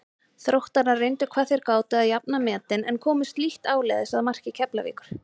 Þróttarar reyndu hvað þeir gátu að jafna metin en komust lítt áleiðis að marki Keflavíkur.